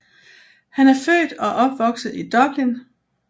Han er født og opvokset i Dublin